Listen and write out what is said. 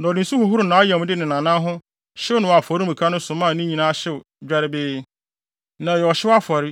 Na ɔde nsu hohoroo nʼayamde ne nʼanan no ho hyew no wɔ afɔremuka no so maa ne nyinaa hyew dwerɛbee. Na ɛyɛ ɔhyew afɔre,